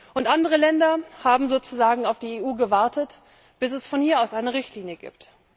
Und andere Länder haben sozusagen auf die EU gewartet, bis es von hier aus eine Richtlinie gibt.